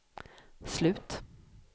slut